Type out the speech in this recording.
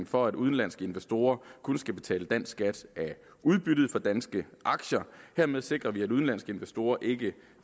for at udenlandske investorer kun skal betale dansk skat af udbyttet på danske aktier dermed sikrer vi at udenlandske investorer ikke